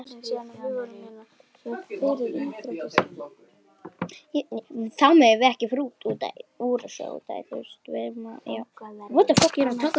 Kveikir hana aftur.